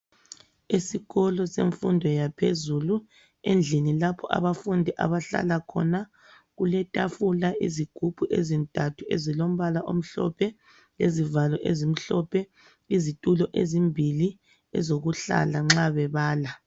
Esikolo semfundo yaphezulu, endlini lapho abafundi abahlala khona kuletafula, izigubhu ezintathu ezilombala omhlophe, izivalo ezimhlophe, izitulo ezimbili ezokuhlala nxa bebala